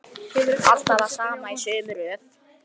Alltaf það sama og í sömu röð.